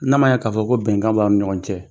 N'a ma ɲɛ k'a fɔ ko bɛnkan b'aw ni ɲɔgɔn cɛ